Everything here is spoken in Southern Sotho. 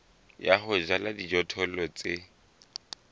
ya ho jala dijothollo tse